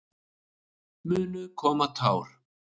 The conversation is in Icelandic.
Munu koma tár?